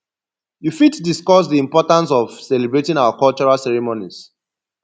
you fit discuss di importance of celebrating our cultural ceremonies